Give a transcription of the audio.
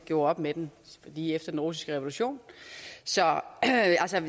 gjorde op med den lige efter den russiske revolution så